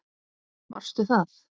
Varstu það?